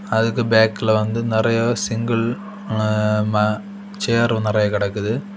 அதுக்கு பேக்ல வந்து நெறைய சிங்கிள் அ ம சேர் நெறய கிடக்குது.